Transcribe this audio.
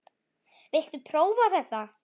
Viltu prófa þetta?